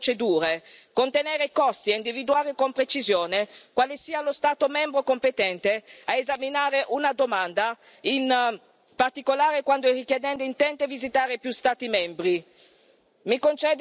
Siamo riusciti a semplificare le procedure, contenere i costi ed individuare con precisione quale sia lo Stato membro competente a esaminare una domanda, in particolare quando il richiedente intende visitare più Stati membri. Mi concede qualche minuto in più Presidente, perché ho fatto la prima parte ringraziando la Commissione.